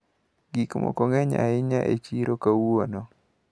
Gikmoko ng`eny ahinya e chiro kawuono.